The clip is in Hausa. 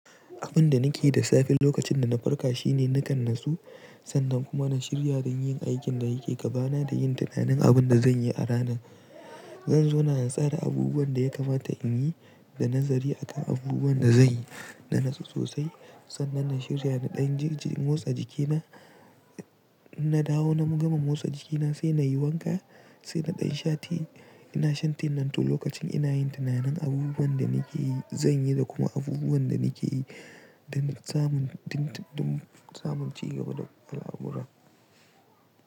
Abin da nake da safe lokacin da na farka shine nakan natsu, sannan kuma na shirya da yin aikin da yake gabana da yin tunanin abin da zan yi a rana. Zan zauna na tsara abubuwan da ya kamata in yi da nazari aka abubuwan da zanyi na natsu sosai. Sannan na shirya na ɗan motsa jikina, na dawo na gama motsa jikina sai na yi wanka, sai na ɗan shati. Ina shan tea nan to lokacin ina yin tunanin abubuwan da nake yi zan yi da kuma abubuwan da nake yi don samun, don samun cigaba da al'amura.